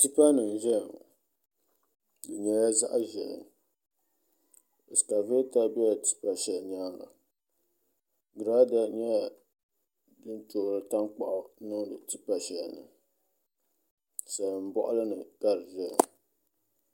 Tipa nim n ʒɛya ŋo bi nyɛla zaɣ ʒiɛhi ɛskavɛta ʒɛla tipa shɛli nyaanga giraada nyɛla din toori tankpaɣu n niŋdi tipa shɛli ni salin boɣali ni ka di ʒɛya